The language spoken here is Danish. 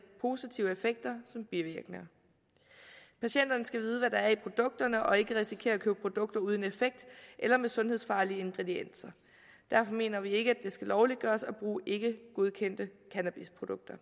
positive effekter som bivirkninger patienterne skal vide hvad der er i produkterne og ikke risikere at købe produkter uden effekt eller med sundhedsfarlige ingredienser derfor mener vi ikke at det skal lovliggøres at bruge ikkegodkendte cannabisprodukter